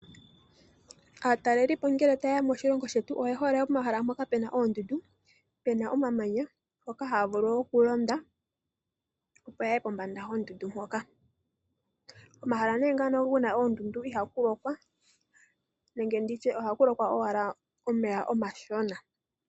Aatalelipo ngele ta ye ya moshilongo shetu, oye hole pomahala mpoka pe na oondundu nenge pe na omamanya mpoka haa vulu wo oku londa, opo ya ye pombanda yondundu mpoka. Komahala ne ngano ku na oondundu iha ku lokwa, nenge ndi tye oha ku lokwa owala omeya omashona.